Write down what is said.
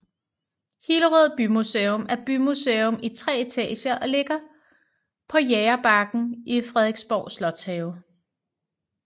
Hillerød Bymuseum er bymuseum i tre etager og ligger på Jægerbakken i Frederiksborg Slotshave